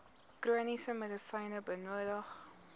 chroniese medisyne benodig